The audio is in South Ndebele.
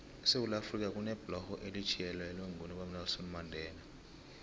esewula afrika kunebhlorho elithiyelelwe ngobaba unelson mandela